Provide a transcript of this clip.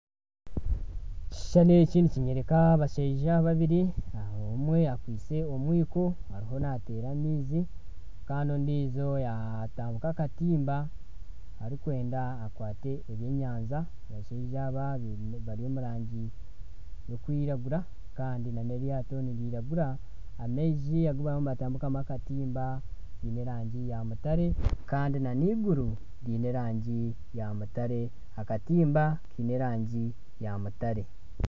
Ekishushani eki nikyoreeka abashaija babiri omwe akwitse omwiko ariyo naateera amaizi kandi ondiijo yaatandika akatimba arikwenda akwate ebyenyanja abashaija aba bari omu rangi y'okwiragura kandi nana eryato niriragura kandi amaizi agu bariyo nibatambika akatimba giine erangi yaamutare kandi nana eiguru riine erangi ya mutare akatimba kiine erangi ya mutare